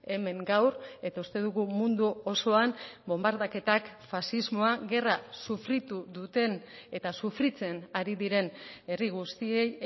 hemen gaur eta uste dugu mundu osoan bonbardaketak faxismoa gerra sufritu duten eta sufritzen ari diren herri guztiei